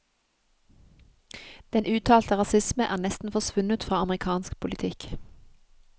Den uttalte rasisme er nesten forsvunnet fra amerikansk politikk.